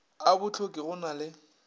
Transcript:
a bohloki go na le